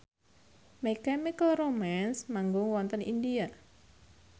My Chemical Romance manggung wonten India